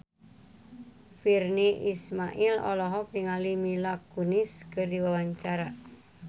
Virnie Ismail olohok ningali Mila Kunis keur diwawancara